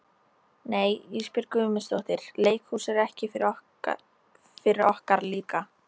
Nei Ísbjörg Guðmundsdóttir, leikhús er ekki fyrir okkar líka.